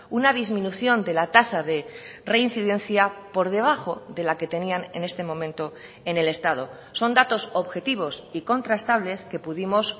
una disminución de la tasa de reincidencia por debajo de la que tenían en este momento en el estado son datos objetivos y contrastables que pudimos